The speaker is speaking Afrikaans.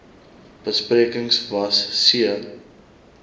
besprekings was c